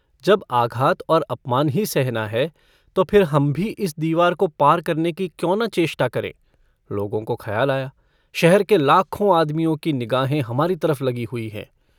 जब आघात और अपमान ही सहना है तो फिर हम भी इस दीवार को पार करने की क्यों न चेष्टा करें लोगों को खयाल आया शहर के लाखों आदमियों की निगाहें हमारी तरफ लगी हुई हैं।